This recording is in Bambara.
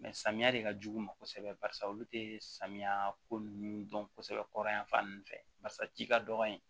samiya de ka jugu u ma kosɛbɛ barisa olu te samiya ko nunnu dɔn kosɛbɛ kɔri yafan nunnu fɛ barisa ci ka dɔgɔ yen